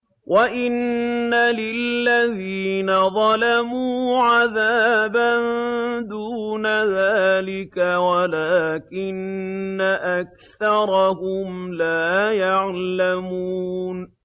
وَإِنَّ لِلَّذِينَ ظَلَمُوا عَذَابًا دُونَ ذَٰلِكَ وَلَٰكِنَّ أَكْثَرَهُمْ لَا يَعْلَمُونَ